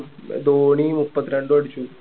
പിന്നെ ധോണി മുപ്പത്തിരണ്ടും അടിച്ചു